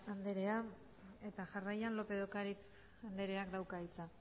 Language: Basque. anderea jarraian lópez de ocariz andereak dauka hitza